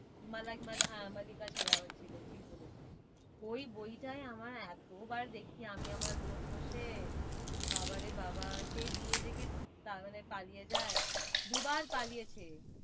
হ্যাঁ মল্লিকা শেরাওয়াত ছিল ঠিক বলেছিস। ওই বইটায় আমার এতবার দেখছি আমি আমার বোন বসে বাবা রে বাবা সেই বিয়ে থেকে পালিয়ে যায় দু বার পালিয়েছে।